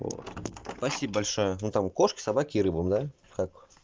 вот спасибо большое но там кошки собаке и рыбам как